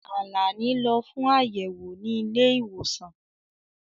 Àlàní lọ fún ayẹwo ni ilé-ìwòsàn.